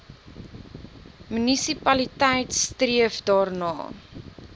munisipaliteit streef daarna